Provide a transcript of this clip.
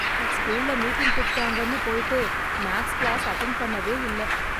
ஸ்கூல்ல மீட்டிங் கூப்பிட்டாங்கன்னு போயிட்டு மேக்ஸ் கிளாஸ் அட்டென்ட் பண்ணவே இல்ல.